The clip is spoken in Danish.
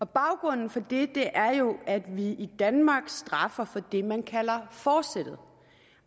baggrunden for det er jo at vi i danmark straffer for det man kalder forsættet